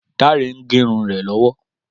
Dáre ń gérun rè lọ́wọ́